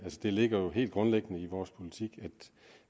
det ligger helt grundlæggende i vores politik at